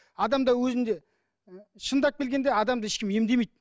адамда өзінде і шындап келгенде адамды ешкім емдемейді